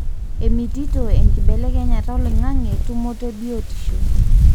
emitito enkibelekenyata oloingange tumoto ebiotisho.